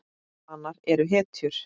Hanar eru hetjur.